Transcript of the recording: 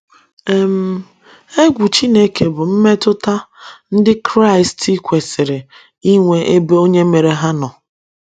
um Egwu Chineke bụ mmetụta ndị Kraịst kwesịrị inwe n’ebe Onye mere ha nọ.